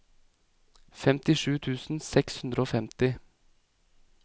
femtisju tusen seks hundre og femti